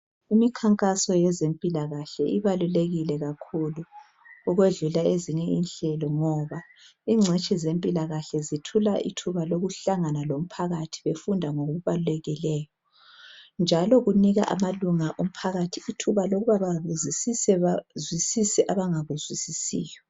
Imikhankaso yezempilakahle ibalulekile kakhulu ukwedlula ezinye inhlelo ngoba ingcitshi zempilakahle zithola ithuba lokuhlangana lomphakathi befunda ngokubalulekileyo njalo kunika amalunga omphakathi ithuba lokuba babuzisise bazwisise abangakuzwisisiyo